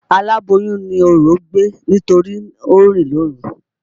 Alàboyùn ni orò gbé nítorí o rìn lóru.